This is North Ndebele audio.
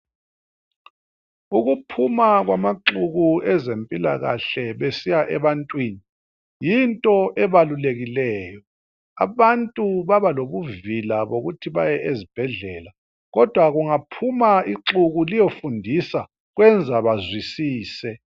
Ukuphuma kwamaxuku ezempilakahle besiya ebantwini yinto ebalulekileyo. Abantu babalobuvila bokuthi baye ezibhedlela kodwa kungaphuma ixuku liyofundisa kwenza bazwisise.